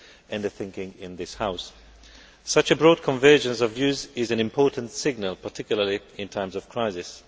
and the thinking in this House. Such a broad convergence of views is an important signal particularly in times of crisis.